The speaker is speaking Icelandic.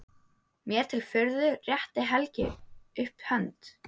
Mér til furðu réttir Helgi upp hönd.